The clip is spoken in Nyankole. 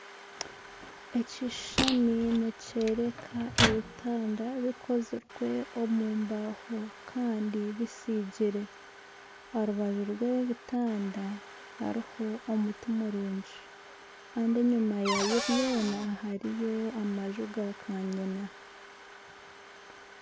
Ekishushani nikyoreka ebitanda bikozirwe omu mbaaho kandi bitsigire, aha rubaju rw'ebitanda hariho omuti murungi kandi enyuma yabyo byona hariyo amanju ga kanyina.